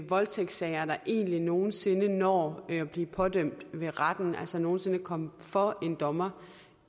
voldtægtssager der egentlig nogen sinde når at blive pådømt ved retten altså nogen sinde kommer for en dommer